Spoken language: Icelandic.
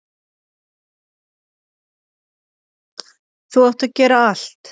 Þú átt að gera allt.